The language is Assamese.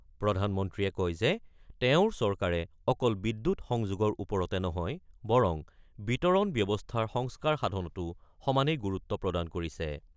প্ৰধানমন্ত্ৰীয়ে কয় যে, তেওঁৰ চৰকাৰে অকল বিদ্যুৎ সংযোগৰ ওপৰতে নহয়, বৰং বিতৰণ ব্যৱস্থাৰ সংস্কাৰ সাধনতো সমানেই গুৰুত্ব প্ৰদান কৰিছে।